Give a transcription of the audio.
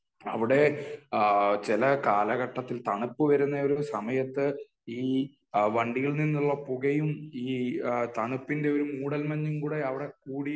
അവിടെ ചില കാലഘട്ടത്തിൽ, തണുപ്പ് വരുന്ന ഒരു സമയത്ത് ഈ വണ്ടിയിൽ നിന്നുള്ള പുകയും ഈ തണുപ്പിന്റെ ഒരു മൂടൽ മഞ്ഞും കൂടെ അവിടെ കൂടി